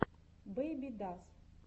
бэйбидас